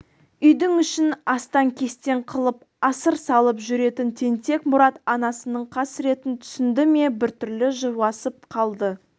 үйдің ішін астан-кестен қылып асыр салып жүретін тентек мұрат анасының қасіретін түсінді ме бір түрлі жуасып қалды